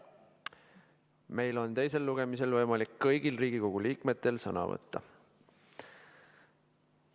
Meil on teisel lugemisel võimalik kõigil Riigikogu liikmetel sõna võtta.